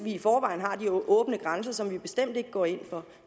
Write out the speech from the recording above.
i forvejen har de åbne grænser som vi bestemt ikke går ind for